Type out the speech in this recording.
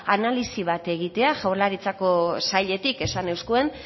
analisi bat egitea jaurlaritzako sailetik esan euzkuen